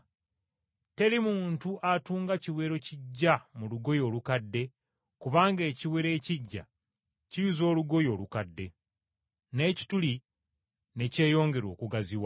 Teri muntu atunga kiwero kiggya mu lugoye olukadde kubanga ekiwero ekiggya kiyuza olugoye olukadde, n’ekituli ne kyeyongera okugaziwa.